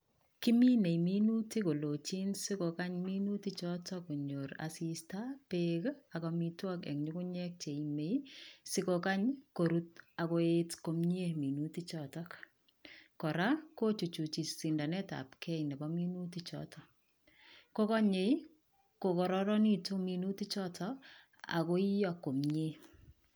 Kimine minutik kolochin sikokany minutik chotok konyor asista, beek, ak amitwogik eng ngungunyek cheiime sikokany korur, akoet komyee minutik chotok. Kora kochuchuchi sindanetabkei nebo minutik chotok, kokanyei kokararanitu minutik chotok, akoiyoo komyee